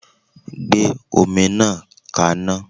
Gbé omi náà kaná.!